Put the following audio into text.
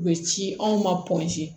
U bɛ ci anw ma